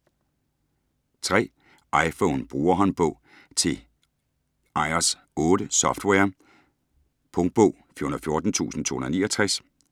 iPhone brugerhåndbog: til iOs 8-software Punktbog 414269